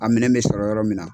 Amina bɛ sɔrɔ yɔrɔ min na.